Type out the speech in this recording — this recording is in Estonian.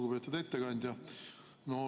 Lugupeetud ettekandja!